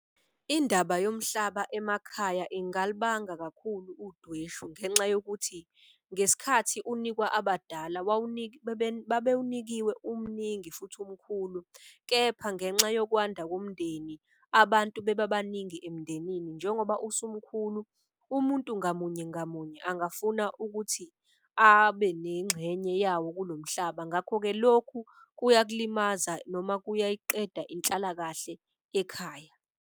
Indaba yomhlaba emakhaya ingalibanga kakhulu udweshu ngenxa yokuthi ngesikhathi unikwa abadala. Babewunikiwe umningi futhi umkhulu kepha ngenxa yokwanda komndeni abantu beba baningi emndenini. Njengoba usumkhulu umuntu ngamunye ngamunye angafuna ukuthi abe nengxenye yawo kulo mhlaba. Ngakho-ke lokhu kuyakulimaza noma kuyayiqeda inhlalakahle ekhaya.